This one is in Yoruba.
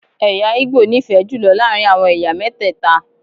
Ẹ̀yà ìgbò n'ifẹ jùlọ láàrin àwọn ẹ̀yà mẹtẹta.